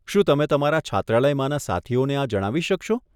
શું તમે તમારા છાત્રાલયમાંના સાથીઓને આ જણાવી શકશો?